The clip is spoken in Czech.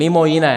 Mimo jiné.